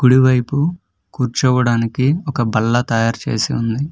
కుడివైపు కూర్చోవడానికి ఒక బల్ల తయారు చేసి ఉంది.